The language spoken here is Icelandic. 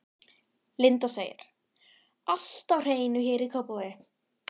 Linda: Allt á hreinu hér í Kópavogi?